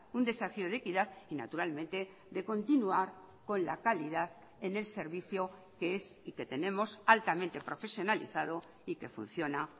un desafío de equidad y naturalmente de continuar con la calidad en el servicio que es y que tenemos altamente profesionalizado y que funciona